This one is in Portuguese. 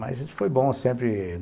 Mas foi bom sempre.